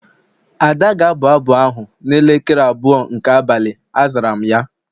Ada ga-abụ abụ ahụ n'elekere abụọ nke abalị, azara m ya